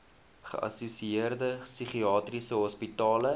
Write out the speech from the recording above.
geassosieerde psigiatriese hospitale